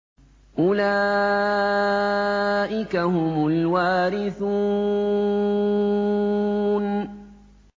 أُولَٰئِكَ هُمُ الْوَارِثُونَ